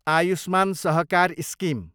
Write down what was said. आयुष्मान सहकार स्किम